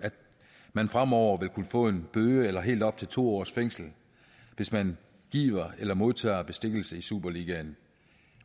at man fremover vil kunne få en bøde eller helt op til to års fængsel hvis man giver eller modtager bestikkelse i superligaen